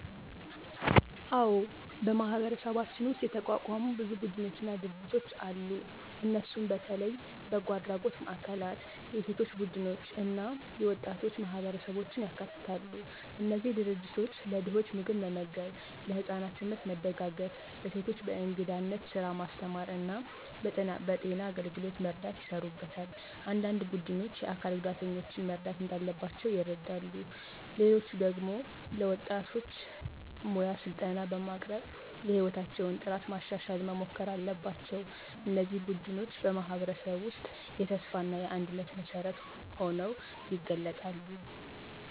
አዎን፣ በማህበረሰባችን ውስጥ የተቋቋሙ ብዙ ቡድኖችና ድርጅቶች አሉ። እነሱ በተለይ በጎ አድራጎት ማዕከላት፣ የሴቶች ቡድኖች እና የወጣቶች ማህበረሰቦችን ያካትታሉ። እነዚህ ድርጅቶች ለድኾች ምግብ መመገብ፣ ለህፃናት ትምህርት መደጋገፍ፣ ለሴቶች በእንግዳነት ስራ ማስተማር እና በጤና አገልግሎት መርዳት ይሰሩበታል። አንዳንድ ቡድኖች የአካል ጉዳተኞችን መርዳት እንዳለባቸው ይረዱ፣ ሌሎች ደግሞ ለወጣቶች ሙያ ስልጠና በማቅረብ የሕይወታቸውን ጥራት ማሻሻል መሞከር አለባቸው። እነዚህ ቡድኖች በማህበረሰብ ውስጥ የተስፋ እና የአንድነት መሠረት ሆነው ይገለጣሉ።